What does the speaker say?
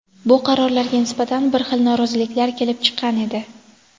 bu qarorlarga nisbatan har xil noroziliklar kelib chiqqan edi.